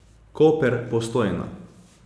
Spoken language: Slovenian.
Koper, Postojna.